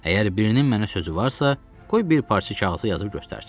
Əgər birinin mənə sözü varsa, qoy bir parça kağıza yazıb göstərsin.